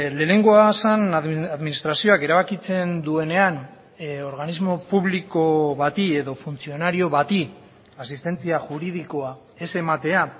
lehenengoa zen administrazioak erabakitzen duenean organismo publiko bati edo funtzionario bati asistentzia juridikoa ez ematea